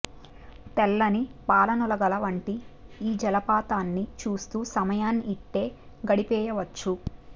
తెల్లని పాలనుగుల వంటి ఈ జలపాతాన్ని చూస్తూ సమయాన్ని ఇట్టే గడిపేయవచ్చు